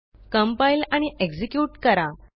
compile आणि execute करा